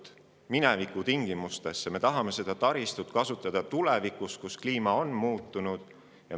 Me ei raja ju taristut minevikutingimustesse, vaid me tahame seda ka tulevikus kasutada, kui kliima on muutunud.